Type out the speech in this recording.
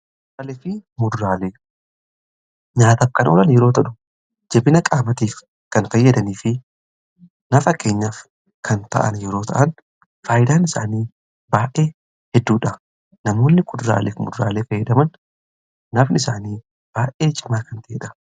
alifii mudraale nyaatafkan olan yeroo tadhu jibina qaabatiif kan kayyadanii fi nafa keenyaaf kan ta'an yeroo ta'an faayyidaan isaanii baa'ee hedduudha namoonni kudraalek mudraalee feedaman nafni isaanii baa'ee cimaa kan ta'eedha